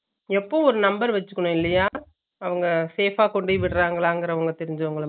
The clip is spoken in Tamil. எப்பவும் ஒரு number வெச்சுக்கணும் இல்லையா அவுங்க safe அ கொண்டுபோய் விடராங்கலா தெரிஞ்சவங்க